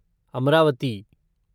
Amravati